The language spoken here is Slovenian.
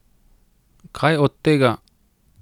Kaj od tega?